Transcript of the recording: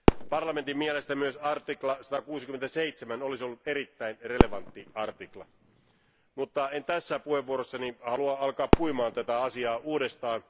Parlamentin mielestä myös 167 artikla olisi ollut erittäin relevantti artikla, mutta en tässä puheenvuorossani halua alkaa puimaan tätä asiaa uudestaan.